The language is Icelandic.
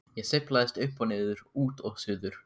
Ég sveiflast upp og niður, út og suður.